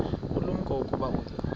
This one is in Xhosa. ulumko ukuba uza